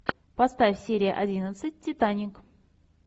поставь серия одиннадцать титаник